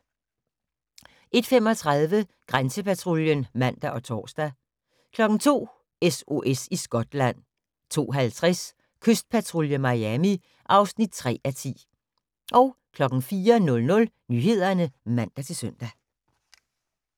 01:35: Grænsepatruljen (man og tor) 02:00: SOS i Skotland 02:50: Kystpatrulje Miami (3:10) 04:00: Nyhederne (man-søn)